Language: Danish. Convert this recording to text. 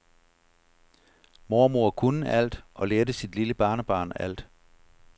Mormor kunne alt og lærte sit lille barnebarn alt.